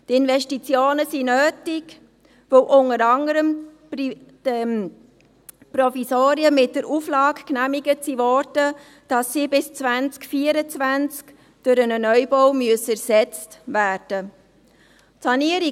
Die Investitionen sind nötig, weil unter anderem die Provisorien mit der Auflage genehmigt wurden, dass sie bis 2024 durch einen Neubau ersetzt werden müssen.